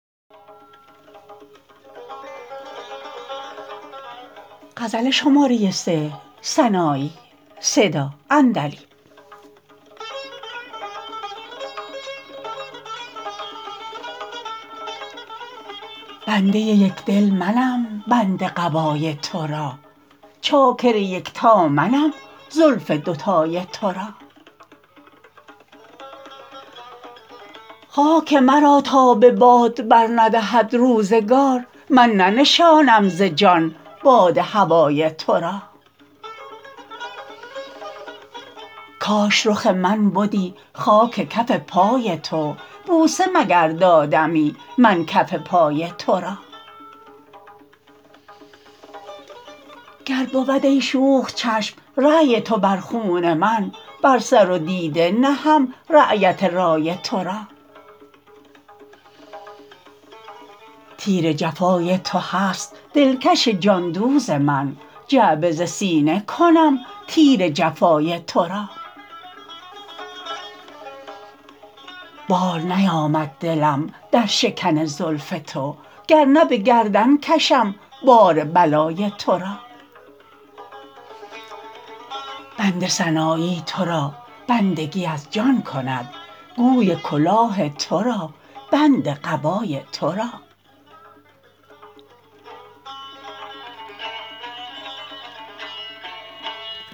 بنده یک دل منم بند قبای ترا چاکر یکتا منم زلف دو تای ترا خاک مرا تا به باد بر ندهد روزگار من ننشانم ز جان باد هوای ترا کاش رخ من بدی خاک کف پای تو بوسه مگر دادمی من کف پای ترا گر بود ای شوخ چشم رای تو بر خون من بر سر و دیده نهم رایت رای ترا تیر جفای تو هست دلکش جان دوز من جعبه ز سینه کنم تیر جفای ترا بار نیامد دلم در شکن زلف تو گر نه به گردن کشم بار بلای ترا بنده سنایی ترا بندگی از جان کند گوی کلاه ترا بند قبای ترا